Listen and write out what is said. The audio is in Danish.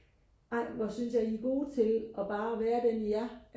ej hvor synes jeg I er gode til og bare være den i er